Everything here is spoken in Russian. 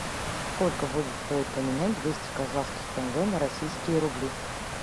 сколько будет стоить поменять двести казахских тенге на российские рубли